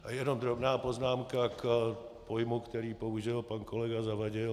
A jenom drobná poznámka k pojmu, který použil pan kolega Zavadil.